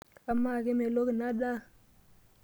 Amaa, kemelok inadaa/